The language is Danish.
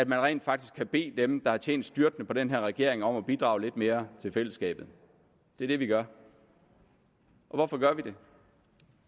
rent faktisk har bedt dem der har tjent styrtende på den her regering om at bidrage lidt mere til fællesskabet det er det vi gør hvorfor gør vi det